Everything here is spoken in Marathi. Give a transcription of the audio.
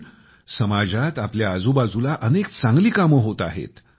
पण समाजात आपल्या आजूबाजूला अनेक चांगली कामे होत आहेत